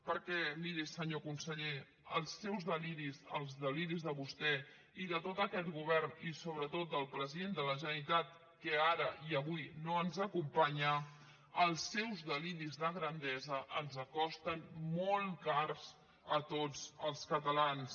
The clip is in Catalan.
perquè miri senyor conseller els seus deliris els deliris de vostè i de tot aquest govern i sobretot del president de la generalitat que ara i avui no ens acompanya els seus deliris de grandesa ens costen molt cars a tots els catalans